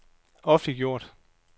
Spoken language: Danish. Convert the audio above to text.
offentliggjort